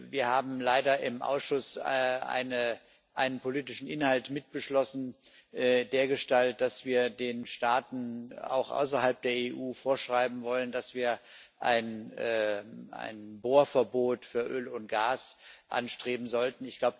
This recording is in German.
Wir haben leider im Ausschuss einen politischen Inhalt mitbeschlossen dergestalt, dass wir den Staaten auch außerhalb der EU vorschreiben wollen, dass wir ein Bohrverbot für Öl und Gas anstreben sollten.